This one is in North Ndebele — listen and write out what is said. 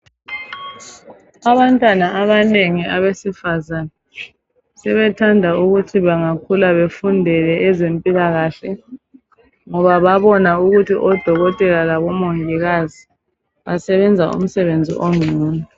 Abantwana abanengi abesifazana sebethanda ukuthi bangakhula befundele ezempilakahle, ngoba babona ukuthi odokotela labomongikazi, basebenza umsebenzi engcono.